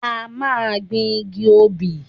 A máa gbin igi obì.